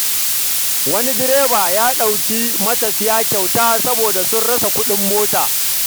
Wani direba ya ɗauki matafiya kyauta saboda sun rasa kuɗin mota.